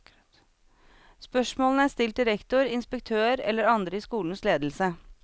Spørsmålene er stilt til rektor, inspektør eller andre i skolens ledelse.